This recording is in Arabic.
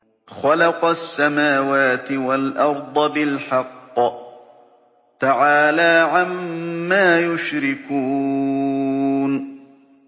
خَلَقَ السَّمَاوَاتِ وَالْأَرْضَ بِالْحَقِّ ۚ تَعَالَىٰ عَمَّا يُشْرِكُونَ